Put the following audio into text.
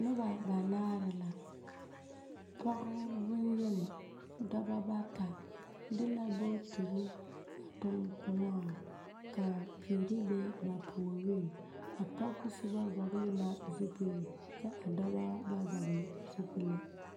Noba banaare la. pɔge boŋyeni, dɔba bata de la bootiri a toŋ kõɔŋ.ka piiri be ba puoriŋ. A pɔge soba vɔgele zupili kyɛ a dɔba ba vɔgele zupile.